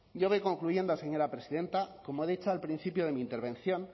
yo voy concluyendo señora presidenta como he dicho al principio de mi intervención